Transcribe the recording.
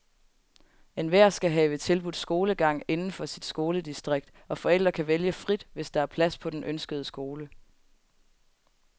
Enhver skal have tilbudt skolegang inden for sit skoledistrikt, og forældre kan vælge frit, hvis der er plads på den ønskede skole.